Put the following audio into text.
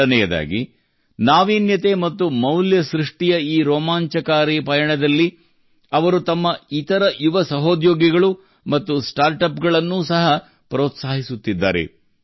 ಎರಡನೆಯದಾಗಿ ನಾವೀನ್ಯತೆ ಮತ್ತು ಮೌಲ್ಯ ಸೃಷ್ಟಿಯ ಈ ರೋಮಾಂಚಕಾರಿ ಪಯಣದಲ್ಲಿ ಅವರು ತಮ್ಮ ಇತರ ಯುವ ಸಹೋದ್ಯೋಗಿಗಳು ಮತ್ತು ಸ್ಟಾರ್ಟ್ಅಪ್ಗಳನ್ನು ಸಹ ಪ್ರೋತ್ಸಾಹಿಸುತ್ತಿದ್ದಾರೆ